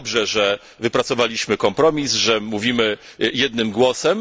I dobrze, że wypracowaliśmy kompromis, że mówimy jednym głosem.